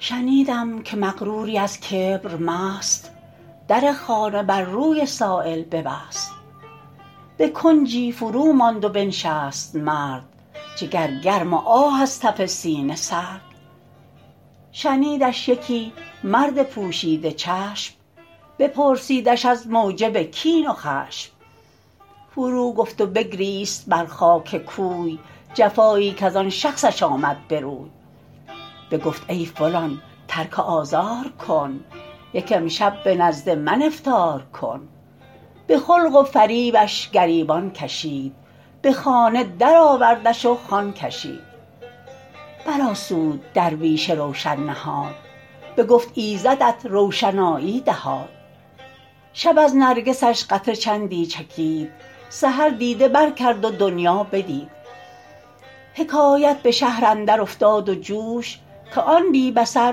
شنیدم که مغروری از کبر مست در خانه بر روی سایل ببست به کنجی فرو ماند و بنشست مرد جگر گرم و آه از تف سینه سرد شنیدش یکی مرد پوشیده چشم بپرسیدش از موجب کین و خشم فرو گفت و بگریست بر خاک کوی جفایی کز آن شخصش آمد به روی بگفت ای فلان ترک آزار کن یک امشب به نزد من افطار کن به خلق و فریبش گریبان کشید به خانه در آوردش و خوان کشید بر آسود درویش روشن نهاد بگفت ایزدت روشنایی دهاد شب از نرگسش قطره چندی چکید سحر دیده بر کرد و دنیا بدید حکایت به شهر اندر افتاد و جوش که آن بی بصر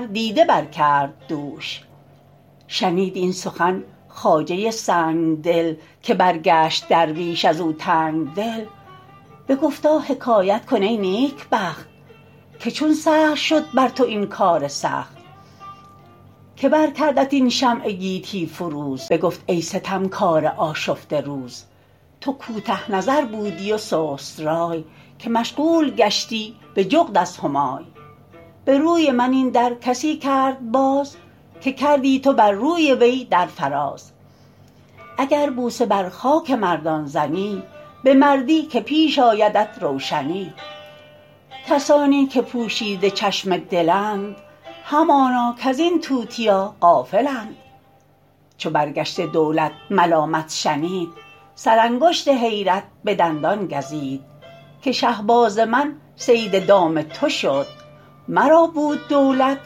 دیده بر کرد دوش شنید این سخن خواجه سنگدل که برگشت درویش از او تنگدل بگفتا حکایت کن ای نیکبخت که چون سهل شد بر تو این کار سخت که بر کردت این شمع گیتی فروز بگفت ای ستمکار آشفته روز تو کوته نظر بودی و سست رای که مشغول گشتی به جغد از همای به روی من این در کسی کرد باز که کردی تو بر روی وی در فراز اگر بوسه بر خاک مردان زنی به مردی که پیش آیدت روشنی کسانی که پوشیده چشم دلند همانا کز این توتیا غافلند چو برگشته دولت ملامت شنید سر انگشت حیرت به دندان گزید که شهباز من صید دام تو شد مرا بود دولت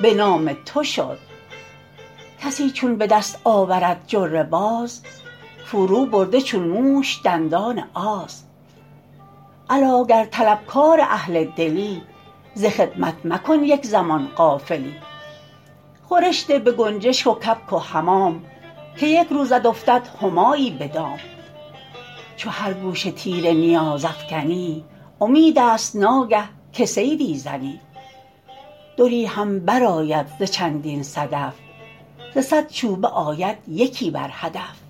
به نام تو شد کسی چون به دست آورد جره باز فرو برده چون موش دندان آز الا گر طلبکار اهل دلی ز خدمت مکن یک زمان غافلی خورش ده به گنجشک و کبک و حمام که یک روزت افتد همایی به دام چو هر گوشه تیر نیاز افکنی امید است ناگه که صیدی زنی دری هم بر آید ز چندین صدف ز صد چوبه آید یکی بر هدف